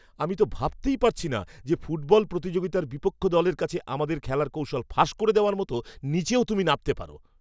আমি তো ভাবতেই পারছি না যে ফুটবল প্রতিযোগিতার বিপক্ষ দলের কাছে আমাদের খেলার কৌশল ফাঁস করে দেওয়ার মতো নীচেও তুমি নামতে পারো!